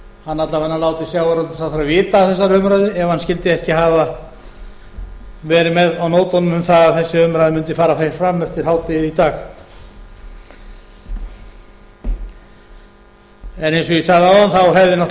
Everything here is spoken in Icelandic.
hann alla vega láti sjávarútvegsráðherra vita af þessari umræðu ef hann skyldi ekki hafa verið með á nótunum um það að þessi umræða mundi fara fram eftir hádegið í dag en eins og ég sagði áðan